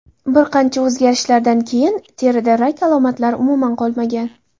Bir qancha o‘zgarishlardan keyin terida rak alomatlari umuman qolmagan.